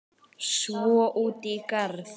Svo út í garð.